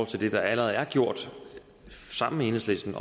til det der allerede er gjort sammen med enhedslisten